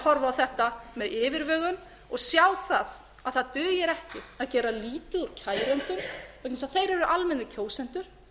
horfa á þetta með yfirvegun og sjá það að það dugir ekki að gera lítið úr kærendum vegna þess að eru almennir kjósendur